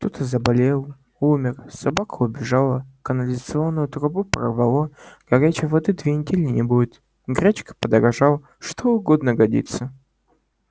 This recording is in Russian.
кто-то заболел умер собака убежала канализационную трубу прорвало горячей воды две недели не будет гречка подорожала что угодно годится